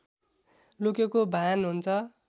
लुकेको भान हुन्छ